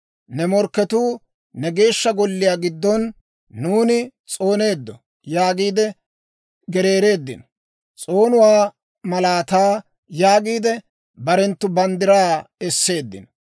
Ne morkketuu ne Geeshsha Golliyaa giddon, «Nuuni s'ooneeddo» yaagiide gereereeddino. S'oonuwaa malaataa yaagiide, barenttu banddiraa esseeddino.